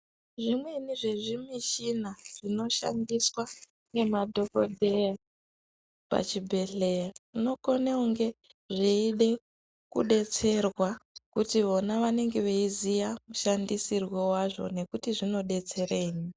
Zvimweni zvezvimishina. zvinoshandiswa ngemadhokodheya pachibhedhlera zvinokone kunge zveida kudetserwa kuti vona vanenge veiziya mushandisirwo wazvo nekuti zvinodetserei.